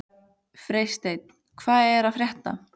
Freysteinn, hvað er að frétta?